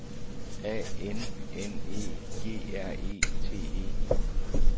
A N N E G R E T E